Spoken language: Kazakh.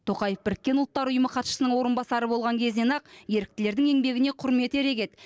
тоқаев біріккен ұлттар ұйымы хатшысының орынбасары болған кезінен ақ еріктілердің еңбегіне құрметі ерек еді